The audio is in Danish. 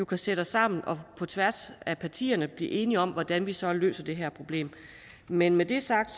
kan sætte os sammen på tværs af partierne og blive enige om hvordan vi så løser det her problem men med det sagt